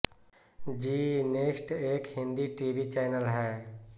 ज़ी next एक Hindi TV channel है